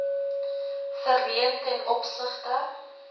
verleen ten opsigte